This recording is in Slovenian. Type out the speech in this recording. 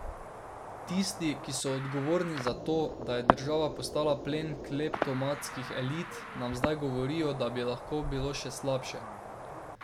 Tisti, ki so odgovorni za to, da je država postala plen kleptomanskih elit, nam zdaj govorijo, da bi lahko bilo še slabše.